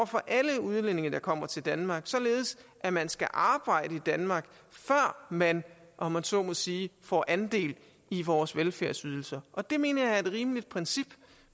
for alle udlændinge der kommer til danmark således at man skal arbejde i danmark før man om jeg så må sige får andel i vores velfærdsydelser og det mener jeg er et rimeligt princip